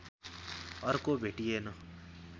अर्को भेटिएन